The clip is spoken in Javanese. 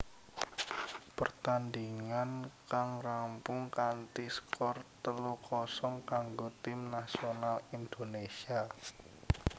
Pertandingan kang rampung kanthi skor telu kosong kanggo Tim Nasional Indonesia